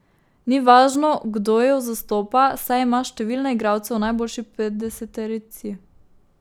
Ni važno, kdo jo zastopa, saj ima številne igralce v najboljši petdeseterici.